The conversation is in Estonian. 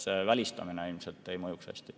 Välistamine ilmselt ei mõjuks hästi.